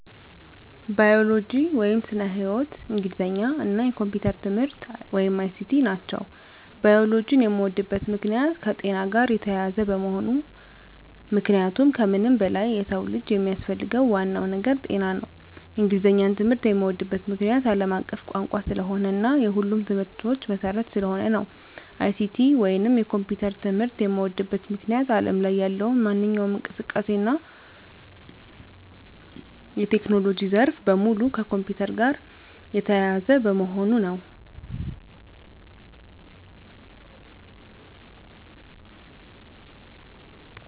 ባዮሎጂ (ስነ-ህይዎት)፣ እንግሊዘኛ እና የኮምፒዩተር ትምህርት(ICT) ናቸው። ባዮሎጂን የምወድበት ምክንያት - የከጤና ጋር የተያያዘ በመሆኑ ምክንያቱም ከምንም በላይ የሰው ልጅ የሚያስፈልገው ዋናው ነገር ጤና ነው። እንግሊዘኛን ትምህርት የምዎድበት ምክንያት - አለም አቀፍ ቋንቋ ስለሆነ እና የሁሉም ትምህርቶች መሰረት ስለሆነ ነው። ICT ወይንም የኮምፒውተር ትምህርት የምዎድበት ምክንያት አለም ላይ ያለው ማንኛውም እንቅስቃሴ እና የቴክኖሎጂ ዘርፍ በሙሉ ከኮምፒውተር ጋር የተያያዘ በመሆኑ ነው።